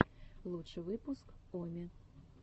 лучший выпуск о ми